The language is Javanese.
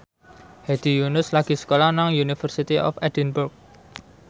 Hedi Yunus lagi sekolah nang University of Edinburgh